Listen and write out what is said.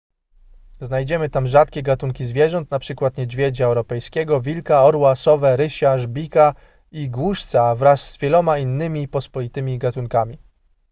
znajdziemy tam rzadkie gatunki zwierząt np niedźwiedzia europejskiego wilka orła sowę rysia żbika i głuszca wraz z wieloma innymi pospolitymi gatunkami